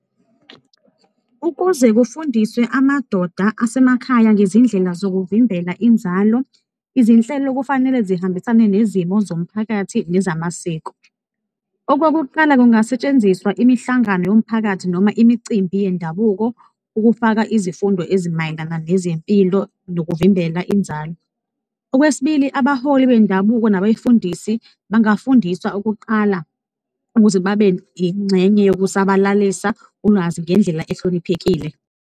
Ukuze kufundiswe amadoda asemakhaya ngezindlela zokuvimbela inzalo, izinhlelo kufanele zihambisane nezimo zomphakathi nezamasiko. Okokuqala, kungasetshenziswa imihlangano yomphakathi noma imicimbi yendabuko, ukufaka izifundo ezimayelana nezempilo nokuvimbela inzalo. Okwesibili, abaholi bendabuko nabefundisi bangafundiswa ukuqala ukuze babe yingxenye yokusabalalisa ulwazi ngendlela ehloniphekile.